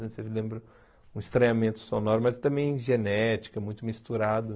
Você lembra um estranhamento sonoro, mas também genética, muito misturado.